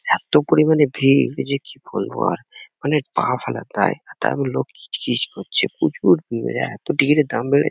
এত্ত পরিমানে ভিড় যে কি বলবো আর! মানে পা ফেলার দায়। তারপর লোক গিজ গিজ করছে। প্রচুর ভিড়। এত ভিড় দাম বেড়ে --